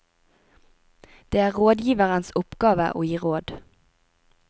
Det er rådgiverens oppgave å gi råd.